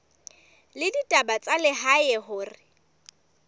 la ditaba tsa lehae hore